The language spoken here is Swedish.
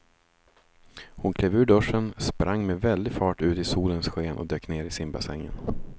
Hon klev ur duschen, sprang med väldig fart ut i solens sken och dök ner i simbassängen.